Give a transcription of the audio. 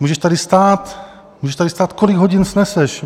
Můžeš tady stát, můžeš tady stát, kolik hodin sneseš.